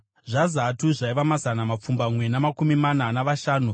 zvaZatu zvaiva mazana mapfumbamwe namakumi mana navashanu;